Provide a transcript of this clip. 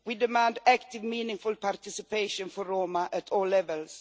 We demand active, meaningful participation for Roma at all levels.